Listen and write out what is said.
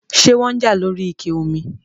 ṣé wọ́n ń jà lóri ike omi?